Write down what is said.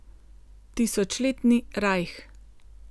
Tisočletni rajh?